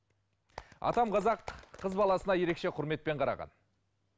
атам қазақ қыз баласына ерекше құрметпен қараған